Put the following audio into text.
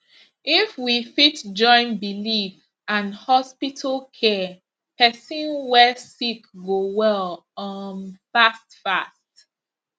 if we fit join believe and hospital care person way sick go well um fast fast